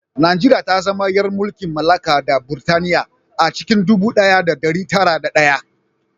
Najeriya ta zama ‘yar mulkin mallaka na Burtaniya a cikin ɗubu ɗaya da ɗari tara da ɗaya